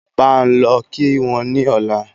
Bá n lọ kí wọ́n ni ọ̀la